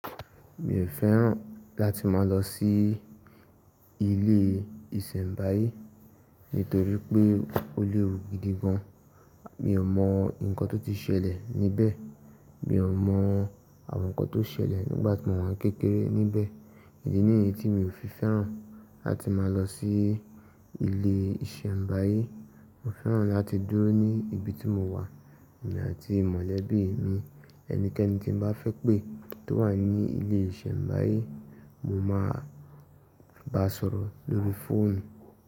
Mi ò fẹ́ràn láti máa lọ sí ilé ìsèbáyé nítorí pé ó léwu gidi gan. Mi ò mọ nǹkan tó ti ṣẹlẹ̀ níbẹ̀, mi ò mọ àwọn nǹkan tó ṣẹlẹ̀ nígbà tí mo wà kékeré níbẹ̀. Idi nìyí tí mi ò fi fẹ́ràn láti máa lọ sí ilé ìsèbáyé. Mo fẹ́ràn láti dúró ní ibi tí mo wà, èmi àti mọ̀lẹ́bí mi. Ẹnikẹ́ni tí n bá fẹ́ pé tó wà ní ilé ìsèbáyé, mo máa bá sọ̀rọ̀ lórí fóònù.